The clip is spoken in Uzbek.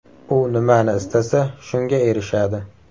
U nimani istasa, shunga erishadi.